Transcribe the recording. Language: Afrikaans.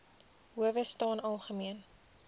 howe staan algemeen